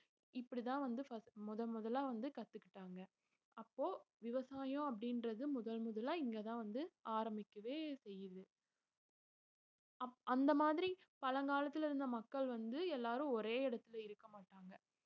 இப்படித்தான் வந்து first முதன்முதலா வந்து கத்துக்கிட்டாங்க அப்போ விவசாயம் அப்படின்றது முதல் முதலா இங்கதான் வந்து ஆரம்பிக்கவே செய்யுது அப்~ அந்த மாதிரி பழங்காலத்துல இருந்த மக்கள் வந்து எல்லாரும் ஒரே இடத்துலயே இருக்கமாட்டாங்க